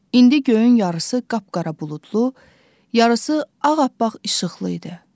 İndi göyün yarısı qapqara buludlu, yarısı ağappaq işıqlı idi.